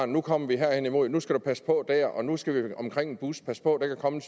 nu kommer vi her hen imod nu skal du passe på dér og nu skal vi omkring en bus pas på der kan komme